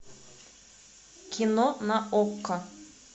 кино на окко